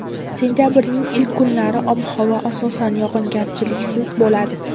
Sentabrning ilk kunlari ob-havo asosan yog‘ingarchiliksiz bo‘ladi.